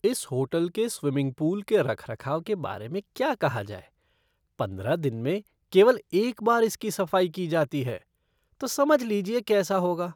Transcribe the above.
इस होटल के swimming pool के रखरखाव के बारे में क्या कहा जाए, पंद्रह दिन में केवल एक बार इसकी सफाई की जाती है तो समझ लीजिए कैसा होगा!